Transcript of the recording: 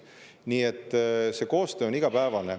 Nii et see koostöö on igapäevane.